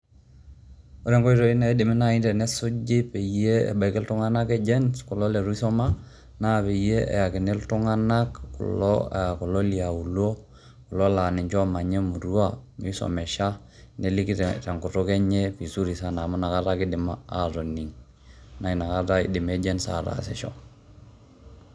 Ore nkoitoi naidimi nai tenesuji peyie ebaiki iltung'anak Agents kulo litu isoma naa peyie eyakini iltung'anak kulo le aulo kulo laa ninje oomanya emurua misomesha, neliki te nkutuk enye vizuri sana amu inakata ake idim atoning' naa inakata idim Aagents ataasisho.